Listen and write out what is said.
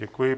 Děkuji.